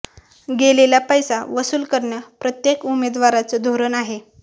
गेलेला पैसा वसुल करणं प्रत्येक उमेदवाराचं धोरण आहे